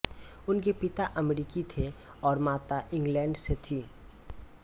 उनके पिता अमरीकी थे और माता इंग्लैंड से थीं